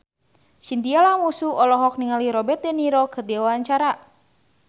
Chintya Lamusu olohok ningali Robert de Niro keur diwawancara